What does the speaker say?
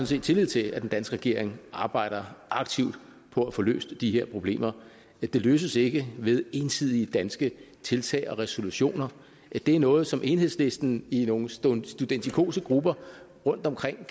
set tillid til at den danske regering arbejder aktivt på at få løst de her problemer de løses ikke ved ensidige danske tiltag og resolutioner det er noget som enhedslisten i nogle studentikose grupper rundtomkring